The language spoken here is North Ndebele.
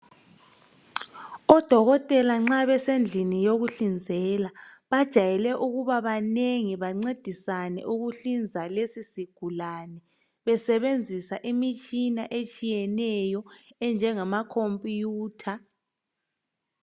odokotela nxa besendlini yokuhlinzela bajayele ukuba banengi bancedisane ukuhlinza lesi sigulane besebenzisa imitshina etshiyeneyo enjengama computer